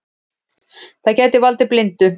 Það gæti valdið blindu.